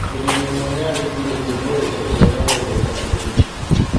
Mũrĩmi ũmwe nĩaraigwire njogu ĩyo 'ĩkĩrĩra' na gwetha ũcangĩri.